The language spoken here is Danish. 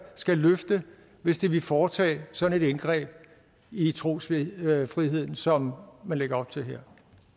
skal løfte hvis de vil foretage sådan et indgreb i trosfriheden som man lægger op til